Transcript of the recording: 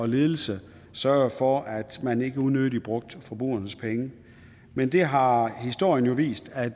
ledelse sørgede for at man ikke unødigt brugte forbrugernes penge men der har historien jo vist at